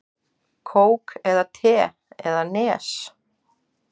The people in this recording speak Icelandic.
Kók eða te eða Nes?